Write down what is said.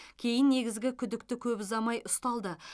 кейін негізгі күдікті көп ұзамай ұсталды